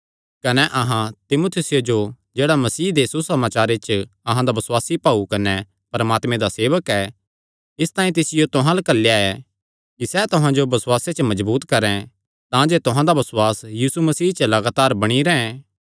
कने अहां तीमुथियुसे जो जेह्ड़ा मसीह दे सुसमाचारे च अहां दा बसुआसी भाऊ कने परमात्मे दा सेवक ऐ इसतांई तिसियो तुहां अल्ल घल्लेया ऐ कि सैह़ तुहां जो बसुआसे च मजबूत करैं तांजे तुहां दा बसुआस यीशु मसीह च लगातार बणी रैंह्